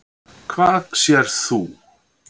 Hvað sérð þú?